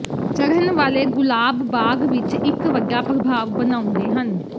ਚੜ੍ਹਨ ਵਾਲੇ ਗੁਲਾਬ ਬਾਗ ਵਿੱਚ ਇੱਕ ਵੱਡਾ ਪ੍ਰਭਾਵ ਬਣਾਉਂਦੇ ਹਨ